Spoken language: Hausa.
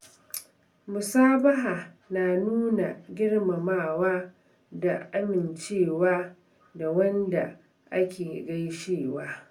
musabaha na nuna girmamawa da amincewa da wanda ake gaishewa.